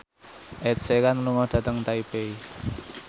Ed Sheeran lunga dhateng Taipei